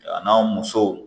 A n'a musow